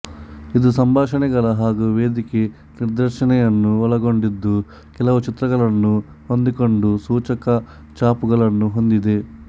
ಇದು ಸಂಭಾಷನೆಗಳು ಹಾಗೂ ವೇದಿಕೆ ನಿರ್ದೇಶಣೆಯನ್ನು ಒಳಗೊಂಡಿದ್ದು ಕೆಲವು ಚಿತ್ರಗಳನ್ನು ಹೊಂದಿಕೊಂಡು ಸೂಚಕ ಚಾಪುಗಳನ್ನು ಹೊಂದಿದೆ